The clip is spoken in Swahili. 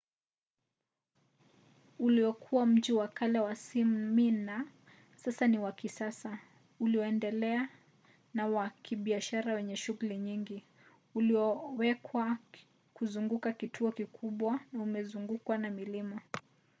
uliokuwa mji wa kale wa smyma sasa ni wa kisasa ulioendelea na wa kibiashara wenye shughuli nyingi ulioewekwa kuzunguka kituo kikubwa na umezungukwa na milima